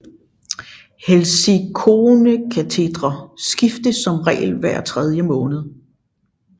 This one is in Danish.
Helsilikonekatetre skiftes som regel hver tredje måned